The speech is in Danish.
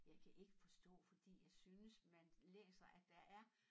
Jeg kan ik forstå fordi jeg synes man læser at der er